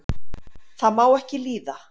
það má ekki líða